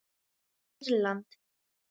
Írland